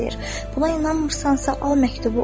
Buna inanmırsansa, al məktubu.